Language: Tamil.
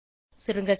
சுருங்க சொல்ல